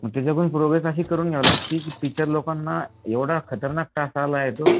कडून प्रोग्रेस अशी करून घ्यावी लागती की टीचर लोकांना एवढा खतरनाक ला येतो